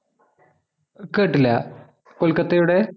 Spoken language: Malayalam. കേട്ടില്ല കൊൽക്കത്തയുടെ